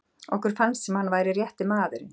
Okkur fannst sem hann væri rétti maðurinn.